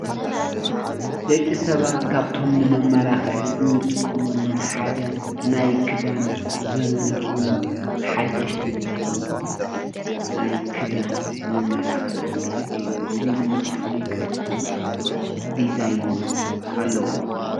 ደቂ ሰባት ካብቶም ንመመላኪዒ እንጥቀመሎም ሓደ ናይ ክዳን ዘመናዊን ሓደሽትን ዝኮኑ ናይ ክዳን መመላኪዒ እዩ፡፡ እዚ ድማ ፍሉይ ቅርፅን ዲዛይንን ኣለዎ፡፡